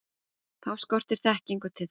Þá skortir þekkingu til þess.